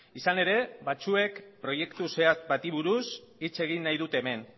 izan ere batzuek proiektu zehatz bati buruz hitz egin nahi dute hemen